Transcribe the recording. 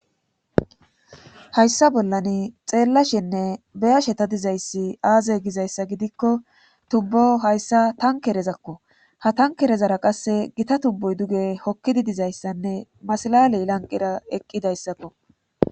Hayssa bollan xeellashenne beyasheta dizayssi aaze gizayssa gidikko tubbo hayssa tankerezakko ha tankerezara qasse gita tubbuy duge hokkidi dizayssanne masalaley lanqira eqqidayssakko